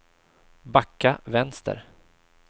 backa vänster